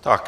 Tak.